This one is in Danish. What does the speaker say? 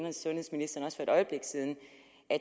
og sundhedsministeren også for et øjeblik siden